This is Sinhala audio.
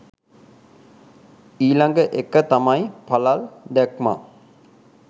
ඊළඟ එක තමයි පළල් දැක්මක්